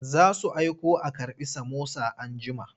Za su aiko a karɓi samosa anjima.